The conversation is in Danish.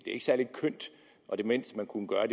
er ikke særlig kønt og det mindste man kunne gøre